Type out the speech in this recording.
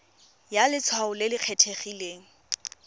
ya letshwao le le kgethegileng